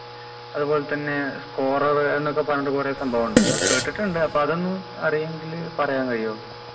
അതുപോലെ തന്നെ scorer എന്നൊക്കെ പറഞ്ഞിട്ട് കുറെ സംഭവിണ്ടല്ലോ കേട്ടിട്ടുണ്ട് അപ്പൊ അതൊന്ന് അറിയുവെങ്കില് പറയാൻ കയ്യോ